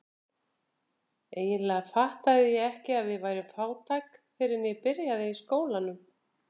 Eiginlega fattaði ég ekki að við værum fátæk fyrr en ég byrjaði í skólanum.